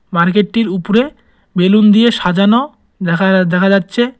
মার্কেটটির উপরে বেলুন দিয়ে সাজানো দেখা দেখা যাচ্ছে।